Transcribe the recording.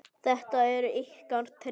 Þetta eru ykkar tré.